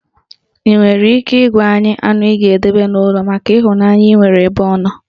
Ị nwere ike ị gwa anyị anụ ị ga-edobe n'ụlọ maka ịhụnanya ị nwere ebe ọ nọ?